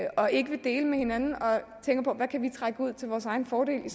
og ikke vil dele med hinanden og tænker på hvad kan vi trække ud til vores egen fordel i